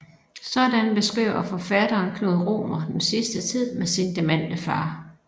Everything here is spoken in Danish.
Sådan beskriver forfatteren Knud Romer den sidste tid med sin demente far